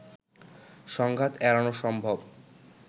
সংঘাত এড়ানো সম্ভব